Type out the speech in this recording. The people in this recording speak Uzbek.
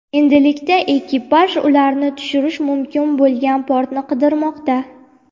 Endilikda ekipaj ularni tushirish mumkin bo‘lgan portni qidirmoqda.